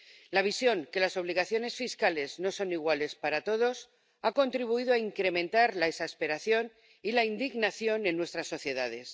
La visión de que las obligaciones fiscales no son iguales para todos ha contribuido a incrementar la exasperación y la indignación en nuestras sociedades.